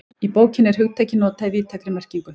Í bókinni er hugtakið notað í víðtækri merkingu.